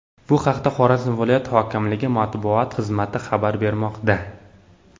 Bu haqda Xorazm viloyat hokimligi matbuot xizmati xabar bermoqda .